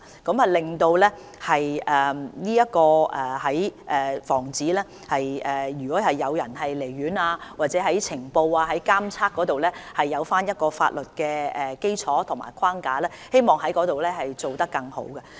此舉可為防止患者離院，以及在呈報、監測方面，提供一個法律基礎及框架，我們希望在這方面做得更好。